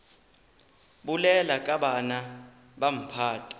bolela ka bana ba mphato